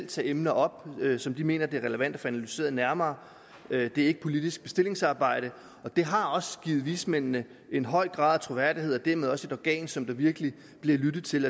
tage emner op som de mener er relevante at få analyseret nærmere det er ikke politisk bestillingsarbejde og det har givet vismændene en høj grad af troværdighed og dermed også et organ som der virkelig bliver lyttet til